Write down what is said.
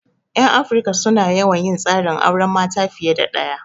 'Yan Afirika su na yawan yin tsarin auren mata fiye da ɗaya.